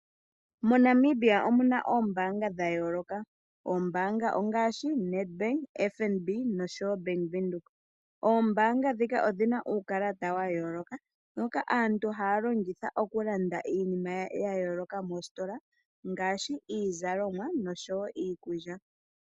MoNamibia omu na oombanga dha yooloka ngaashi Ned Bank, FNB noshowo Bank Windhoek. Oombanga ndhika odhi na uukalata wa yooloka mboka aatu haya longitha okulanda iinima ya yooloka moositola ngaashi iizalomwa noshowo iikulya.